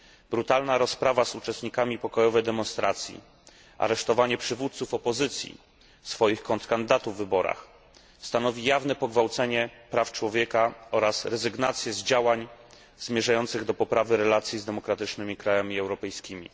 Brutalna rozprawa z uczestnikami pokojowej demonstracji, aresztowanie przywódców opozycji, swoich kontrkandydatów w wyborach, stanowi jawne pogwałcenie praw człowieka oraz rezygnację z działań zmierzających do poprawy relacji z demokratycznymi krajami europejskimi.